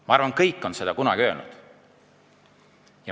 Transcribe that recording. Ma arvan, kõik on seda kunagi öelnud.